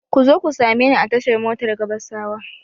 Ku zo ku same ni a tashar motar Gabasawa!